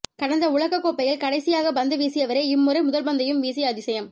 கடந்த உலகக் கோப்பையில் கடைசியாக பந்து வீசியவரே இம்முறை முதல் பந்தையும் வீசிய அதிசயம்